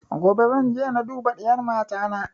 Gobe zan je na duba diyar mata na